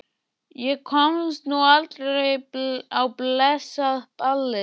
Ég komst nú aldrei á blessað ballið.